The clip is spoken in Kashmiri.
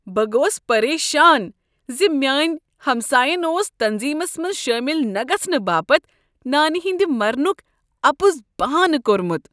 بہ گوس پریشان ز میٲنۍ ہمساین اوس تنظیمس منٛز شٲمل نہ گژھنہٕ باپت نانہِ ہٕنٛدِ مرنک اپُز بہانہٕ كورمٗت۔